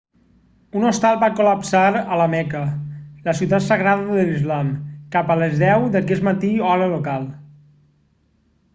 un hostal va col·lapsar a la meca la ciutat sagrada de l'islam cap a les 10 d'aquest matí hora local